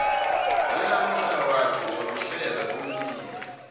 lalela amahlaya wakhe uzokuhleka bewulile